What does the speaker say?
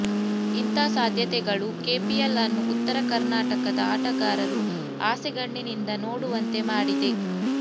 ಇಂಥ ಸಾಧ್ಯತೆಗಳು ಕೆಪಿಎಲ್ ಅನ್ನು ಉತ್ತರ ಕರ್ನಾಟಕದ ಆಟಗಾರರು ಆಸೆಗಣ್ಣಿನಿಂದ ನೋಡುವಂತೆ ಮಾಡಿದೆ